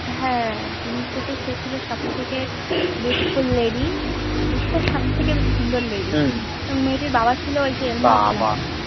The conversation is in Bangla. হ্যান জিম্মির চোখ সে ছিল সব থেকে Beautiful lady বিশ্বের সব থেকে বেশি সুন্দর Lady এবং মেয়েটির বাবা ছিল ঐযে